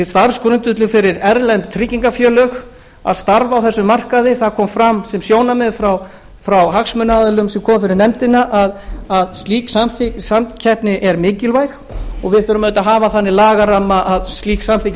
starfsgrundvöllur fyrir erlend tryggingafélög að starfa á þessum markaði það kom fram sem sjónarmið frá hagsmunaaðilum sem komu fyrir nefndina að slík samkeppni er mikilvæg og við þurfum auðvitað að hafa þannig lagaramma að slík samkeppni